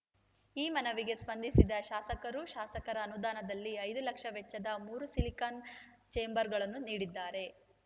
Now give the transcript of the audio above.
ಈ ಮನವಿಗೆ ಸ್ಪಂದಿಸಿದ ಶಾಸಕರು ಶಾಸಕರ ಅನುದಾನದಲ್ಲಿ ಐದು ಲಕ್ಷ ವೆಚ್ಚದ ಮೂರು ಸಿಲಿಕಾನ್‌ ಛೇಂಬರ್‌ಗಳನ್ನು ನೀಡಿದ್ದಾರೆ